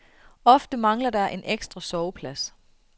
Ofte mangler der en ekstra soveplads.